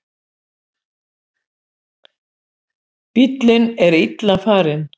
Bíllinn er illa farinn.